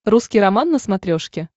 русский роман на смотрешке